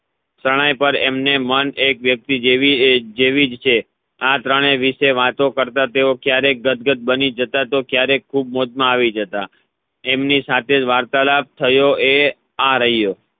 શરણાઈ પર એમને મન એક વ્યક્તિ જેવી જેવીજ છે આ ત્રણે વિષે વાતો કરતા તેઓ ક્યારે ગદગદ બની જતા તો ક્યારે ખૂબ મોજ માં આવી જતા એમની સાથે વાર્તાલાબ થયો એ આ રાયો